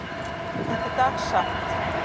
Þetta er dagsatt.